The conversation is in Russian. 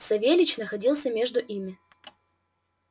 савельич находился между ими